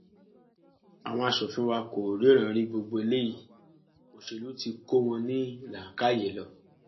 àwọn aṣòfin wa kò ríran rí gbogbo eléyìí òṣèlú tí kò wọn ní làákàyè lọ